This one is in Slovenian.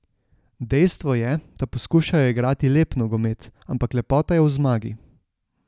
Dejstvo je, da poskušajo igrati lep nogomet, ampak lepota je v zmagi.